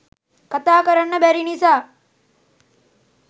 කතා කරන්න බැරි නිසා